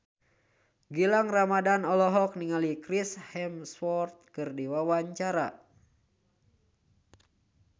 Gilang Ramadan olohok ningali Chris Hemsworth keur diwawancara